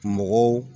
Mɔgɔw